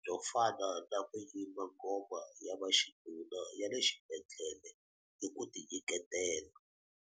byo fana na ku yimba ngoma ya vaxinuna ya le xibedhlele hi ku tinyiketela.